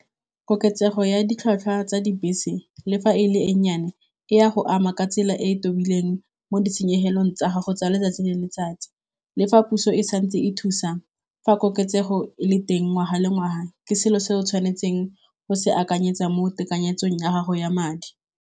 Koketsego ya ditlhwatlhwa tsa dibese le fa e le e nnyane e ya go ama ka tsela e e tobileng mo ditshenyegelong tsa gago tsa letsatsi le letsatsi, le fa puso e santse e thusa fa koketsego e le teng ngwaga le ngwaga ke selo se o tshwanetseng go se akanyetsa mo tekanyetsong ya gago ya madi.